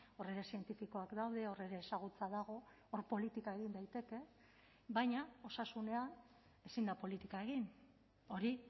hor ere zientifikoak daude hor ere ezagutza dago hor politika egin daiteke baina osasunean ezin da politika egin hori